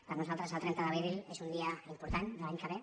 per nosaltres el trenta d’abril és un dia important de l’any que ve